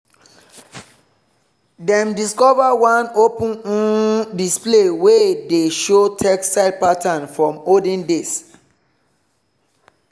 dem discover one open um display wey dey show textile pattern from olden days.